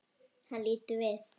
Hann lítur við.